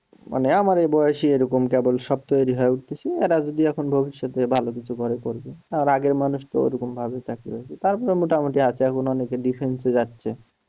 মানে আমার এ বয়সি এরকম কেবল সব তৈরি হয়ে উঠতেছে এরা যদি এখন ভবিষ্যতে ভালো কিছু করে করবে তার আগের মানুষ তো ঐরকম ভাবে চাকরি তারপরে মোটামুটি আছে এখনো অনেকে defense এ যাচ্ছে।